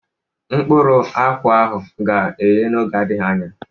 Mkpụrụ akwụ ahụ ga-eye n'oge na-adịghị anya.